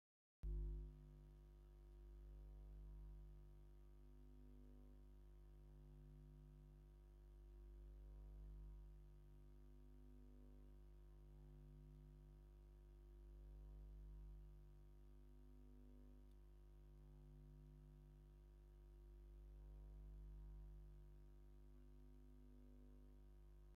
እዚ ብሓጺንን ዕንጨይትን ዝተሰርሐ ባህላዊ ቅዲ ዘለዎ ህንጻ፡ ብለይቲ ይበርህ። እቲ ናብ ላዕሊ ዝወስድ ዕንጨይቲ ዝሰርሖ መገድን ኣብቲ መንገዲ ዘሎ መብራህትን ነቲ ሰፊሕ ናይ ለይቲ ጽባቐ ናይቲ ከባቢ የብርሆ። እዚ ቦታ ንኣጋይሽ ብለይቲ ክሳብ ክንደይ ጽቡቕ ይመስል?